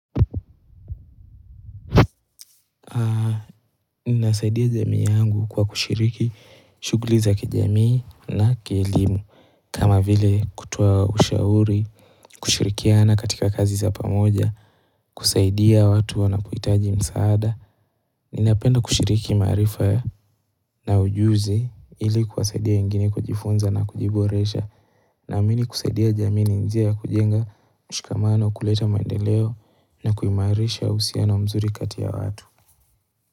Ninasaidia jamii yangu kwa kushiriki shughuli za kijamii na kielimu kama vile kutoa ushauri, kushirikiana katika kazi za pamoja, kusaidia watu wanapohitaji msaada Ninapenda kushiriki maarifa na ujuzi ili kuwasaidia wengine kujifunza na kujiboresha na amini kusaidia jamii ni njia ya kujenga mshikamano kuleta maendeleo na kuimarisha uhusiano mzuri kati ya watu.